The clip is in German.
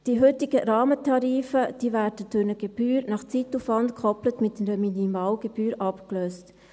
Die heutigen Rahmentarife werden durch eine Gebühr nach Zeitaufwand, gekoppelt mit einer Minimalgebühr, abgelöst.